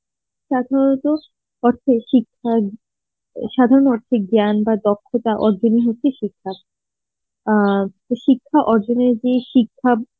তাছাড়া তো শিক্ষা, সাধারণ অর্থে জ্ঞান বা দক্ষতা অর্জন ই হচ্ছে শিক্ষা অ্যাঁ তো শিক্ষা শিক্ষা অর্জনের যেই শিক্ষা